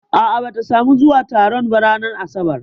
A'a bata samu zuwa taron ba ranar asabar